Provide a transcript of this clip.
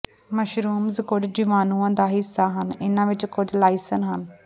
mushrooms ਕੁਝ ਜੀਵਾਣੂਆਂ ਦਾ ਹਿੱਸਾ ਹਨ ਇਨ੍ਹਾਂ ਵਿੱਚੋਂ ਕੁਝ ਲਾਇਸੇਨ ਹਨ